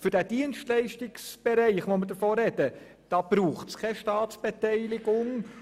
Für den Dienstleistungsbereich, von dem wir sprechen, braucht es keine Staatsbeteiligung.